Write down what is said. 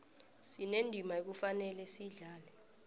sinendima ekufanele siyidlale